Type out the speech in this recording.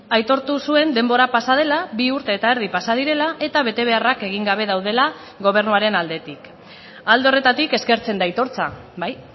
aitortu zuen denbora pasa dela bi urte eta erdi pasa direla eta betebeharrak egin gabe daudela gobernuaren aldetik alde horretatik eskertzen da aitortza bai